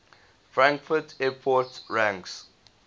frankfurt airport ranks